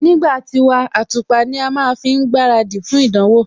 Nígbà tiwa, àtùpà ní a má ń fi gbaradì fún ìdánwò